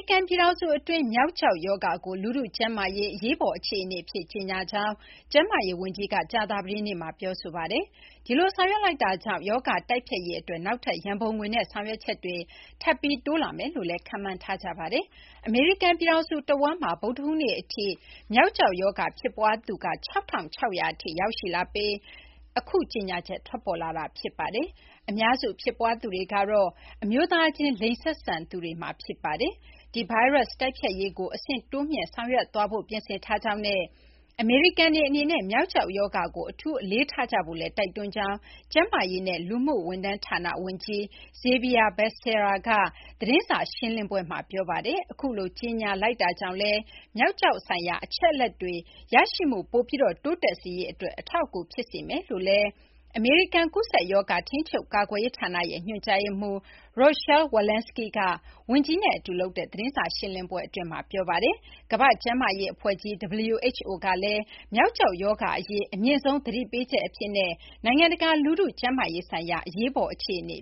ကန် ပြည်ထောင်စု အတွင်း မျောက် ကျောက် ရောဂါကို လူထု ကျန်းမာရေး အရေးပေါ် အခြေအနေ အဖြစ် ကြေညာကြောင်း ကျန်းမာရေး ဝန်ကြီးက ကြာသပတေးနေ့မှာ ပြောဆိုပါတယ်။ ဒီလို ဆောင်ရွက်လိုက်တာကြောင့် ရောဂါ တိုက်ဖျက်ရေး အတွက် နောက်ထပ် ရန်ပုံငွေနဲ့ ဆောင်ရွက်ချက်တွေ ထပ်ပြီး တိုးလာမယ်လို့လည်း ခန့်မှန်းထားကြပါတယ်။ အမေရိကန် ပြည်ထောင်စု တဝန်းမှာ ဗုဒ္ဓဟူးနေ့ အထိ မျောက်ကျောက် ရောဂါ ဖြစ်ပွားသူ ၆,၆၀၀ ထိ ရောက်ရှိလာပြီး နောက် အခု ကြေညာချက် ထွက်ပေါ်လာတာပါ။ အများစု ဖြစ်ပွားသူတွေကတော့ အမျိုးသားချင်း လိင်ဆက်ဆံသူတွေမှာ ဖြစ်ပါတယ်။ ဒီ ဗိုင်းရပ် တိုက်ဖျက်ရေးကို အဆင့်တိုးမြှင့် ဆောင်ရွက်သွားဖို့ ပြင်ဆင်ထားကြောင်းနဲ့ အမေရိကန်တွေ အနေနဲ့ မျောက်ကျောက် ရောဂါကို အထူးအလေးထားကြဖို့လည်း တိုက်တွန်းကြောင်း ကျန်းမာရေးနဲ့ လူမှု ဝန်ထမ်း ဌာန ဝန်ကြီး Xavier Becerra က သတင်းစာ ရှင်းလင်းပွဲမှာ ပြောပါတယ်။ အခုလို ကြေညာလိုက်တာကြောင့်လည်း မျောက်ကျောက် ဆိုင်ရာ အချက်အလက်တွေ ရရှိမှု ပိုပြီး တိုးတက်စေရေး အတွက် အထောက်အကူ ဖြစ်စေမယ်လို့လည်း အမေရိကန် ကူးစက်ရောဂါ ထိန်းချုပ် ကာကွယ်ရေး ဌာန ညွှန်ကြားရေးမှူး Rochelle Walensky က ဝန်ကြီး Bacerra နဲ့ အတူ လုပ်တဲ့သတင်းစာ ရှင်းလင်းပွဲအတွင်းမှာ ပြောပါတယ်။ ကမ ္ဘာ့ကျန်းမာရေး အဖွဲ့ကြီး WHO ကလည်း မျောက်ကျောက် ရောဂါ အရေး အမြင့်ဆုံး သတိပေးချက် နိုင်ငံတကာ လူထု ကျန်းမာရေးဆိုင်ရာ အရေးပေါ် အခြေအနေ